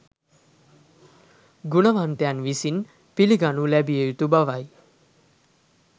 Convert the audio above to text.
ගුණවන්තයන් විසින් පිළිගනු ලැබිය යුතු බවයි